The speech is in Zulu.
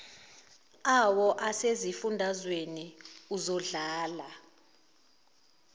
awo asezifundazweni uzodlala